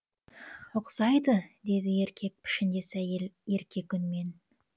ұқсайды деді еркек пішіндес әйел еркек үнмен